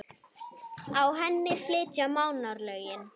Á henni flytja Mánar lögin